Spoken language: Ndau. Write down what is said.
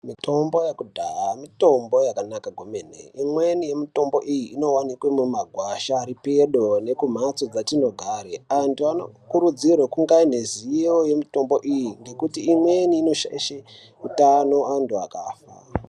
Mitombo yekudhaya mitombo yakanaka kumeni mweni mitombo iyi inowanikwe mumagwasha aripedo nekumhatso dzatinogare antu anokurudzirwa kunge ane ziyo yemitombo iyi ndekuti imweni inoshayishe utano antu akafa